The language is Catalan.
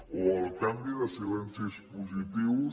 o el canvi de silencis positius